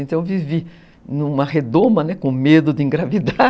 Então eu vivi numa redoma, né, com medo de engravidar.